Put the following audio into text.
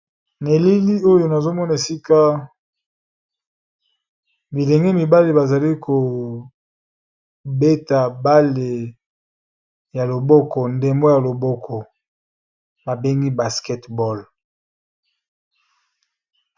Na elili oyo nazo mona esika bilenge mibale ba zali ko beta bale ya loboko ndembo ya loboko ba bengi basketball.